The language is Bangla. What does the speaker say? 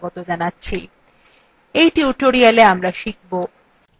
in tutorialwe আমরা শিখব